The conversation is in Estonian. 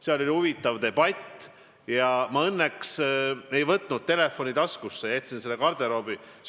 Seal oli huvitav debatt ja ma õnneks ei olnud pannud telefoni taskusse, vaid olin jätnud selle garderoobi.